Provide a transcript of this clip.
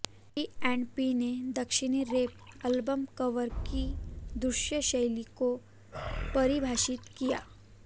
P and P ने दक्षिणी rap album cover की दृश्य शैली को परिभाषित किया